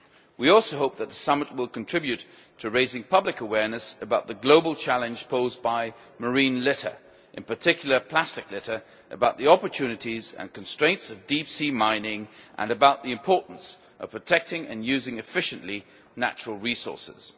We also hope that the summit will contribute to raising public awareness about the global challenge posed by marine litter, in particular plastic litter, about the opportunities and constraints of deep sea mining, and about the importance of protecting and using efficiently natural resources.